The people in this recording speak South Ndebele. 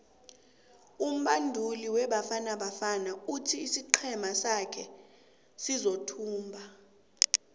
umubanduli webafana bafana uthi isiqhema sake siyothumba